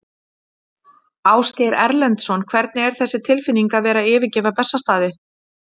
Ásgeir Erlendsson: Hvernig er þessi tilfinning að vera að yfirgefa Bessastaði?